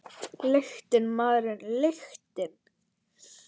Lyktin, maður, lyktin!